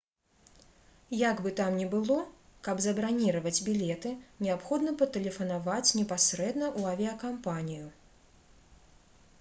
як бы там ні было каб забраніраваць білеты неабходна патэлефанаваць непасрэдна ў авіякампанію